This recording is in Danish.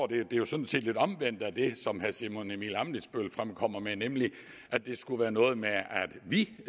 det er jo sådan set lidt omvendt af det som herre simon emil ammitzbøll fremkom med nemlig at det skulle være noget med at vi